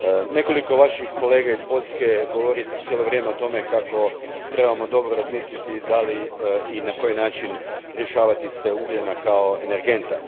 Nekoliko vaših kolega iz Poljske cijelo vrijeme govori o tome kako trebamo dobro razmisliti da li i na koji način riješavati se ugljena kao energenta.